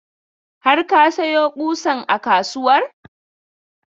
Har ka sayo ƙusan a kasuwar?